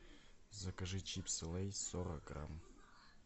закажи чипсы лейс сорок грамм